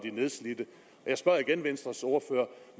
er nedslidte jeg spørger igen venstres ordfører